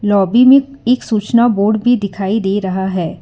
Lobby मैं एक सूचना बोर्ड भी दिखाई दे रहा है।